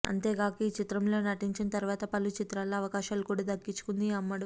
అంతేగాక ఈ చిత్రంలో నటించిన తర్వాత పలు చిత్రాల్లో అవకాశాలు కూడా దక్కించుకుంది ఈ అమ్మడు